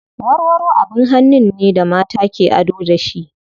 Warwaro abin hannun ne da mata ke ado da shi.